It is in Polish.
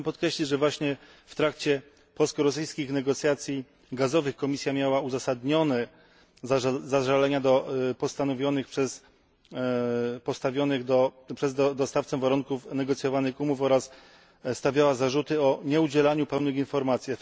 Chciałbym podkreślić, że właśnie w trakcie polsko rosyjskich negocjacji gazowych Komisja miała uzasadnione zażalenia do postawionych przez dostawcę warunków negocjowanych umów oraz stawiała zarzuty o nieudzielaniu pełnych informacji.